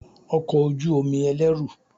Ọkọ̀ ojú omi ẹlẹ́rù